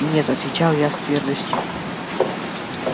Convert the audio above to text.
нет отвечал я с твёрдостью